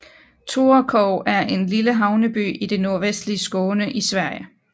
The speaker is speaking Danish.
Torekov er en lille havneby i det nordvestlige Skåne i Sverige